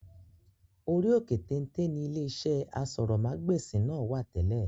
Orí òkè téńté ńi ilé iṣẹ́ aṣórómagbesìn náà wá tẹ́lẹ̀